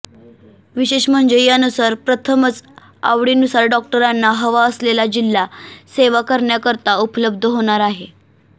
विशेष म्हणजे यानुसार प्रथमच आवडीनुसार डॉक्टरांना हवा असलेला जिल्हा सेवा करण्याकरता उपलब्ध होणार आहे